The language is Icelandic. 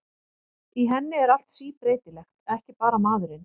Í henni er allt síbreytilegt, ekki bara maðurinn.